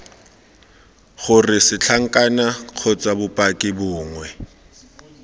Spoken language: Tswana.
gore setlankana kgotsa bopaki bongwe